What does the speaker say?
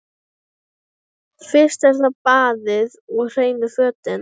Fyrst er það baðið og hreinu fötin.